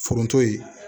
Foronto ye